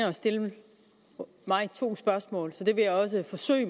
at stille mig to spørgsmål så det vil jeg også forsøge